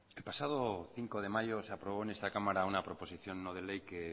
el pasado cinco de mayo se aprobó en esta cámara una proposición no de ley que